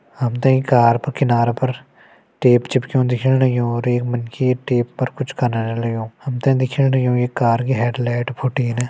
हमते ईं कार प किनारा पर टेप चिपक्यूं दिखेण लग्यूं और एक मनखी ये टेप पर कुछ कनना लग्यूं। हमते दिखेण लग्यूं ये कार की हेड्लाइट फुटीन।